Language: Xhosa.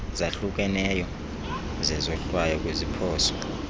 zahlukeneyo zezohlwayo kwiziphoso